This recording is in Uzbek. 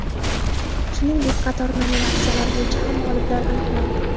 Shuningdek, qator nominatsiyalar bo‘yicha ham g‘oliblar aniqlandi.